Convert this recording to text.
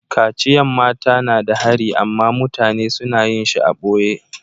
Kaciyan mata na da hari amma mutane suna yin shi a'boye.